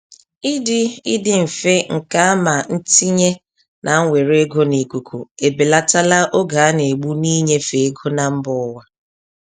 Ịdị Ịdị mfe nke ama ntinye na mwere ego n'ikuku ebelatala oge a na-egbu n'inyefe ego na mba ụwa.